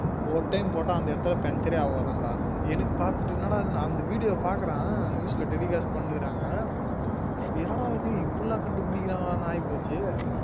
ஒரு time போட்டா அந்த இடத்துல பஞ்சரே ஆகாதாம் டா அந்த video ஆஹ் பாக்குறேன் news ல telecast பண்ணிகிற்றாங்க என்ன டா இது இப்டிலாம் கண்டுபிடிகுரான்கலாம் அப்டின்னு ஆயிப்போச்சு